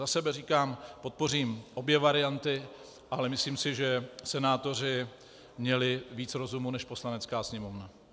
Za sebe říkám, podpořím obě varianty, ale myslím si, že senátoři měli víc rozumu než Poslanecká sněmovna.